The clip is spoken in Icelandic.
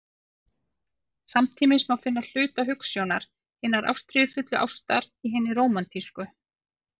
Samtímis má finna hluta hugsjónar hinnar ástríðufullu ástar í hinni rómantísku.